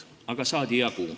Aga saadi jagu.